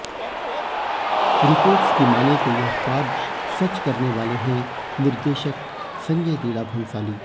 reports की मानें तो यह ख्वाब सच करने वाले हैं निर्देशक संजय लीला भंसाली